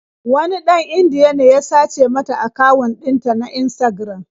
Wani ɗan Indiya ne ya sace mata akawun ɗinta na Instagram.